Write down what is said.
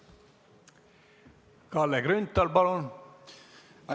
Kalle Grünthal, palun!